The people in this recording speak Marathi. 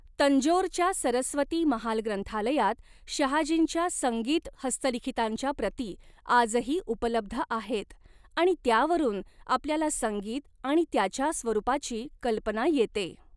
तंजोरच्या सरस्वती महाल ग्रंथालयात शहाजींच्या संगीत हस्तलिखितांच्या प्रती आजही उपलब्ध आहेत आणि त्यावरून आपल्याला संगीत आणि त्याच्या स्वरूपाची कल्पना येते.